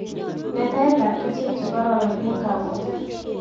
Letaet ab keswek chekororon eng' kapotik